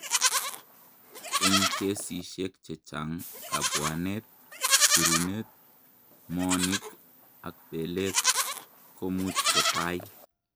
Eng' kesishek chechang', kabwanet, sirunet, moonik ak belet komuch kotai.